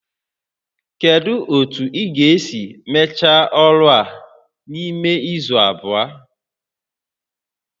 Kedu otu ị ga-esi mechaa ọrụ a n'ime izu abụọ?